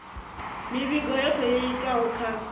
mivhigo yothe yo itwaho kha